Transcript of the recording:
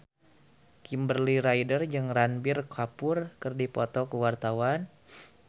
Kimberly Ryder jeung Ranbir Kapoor keur dipoto ku wartawan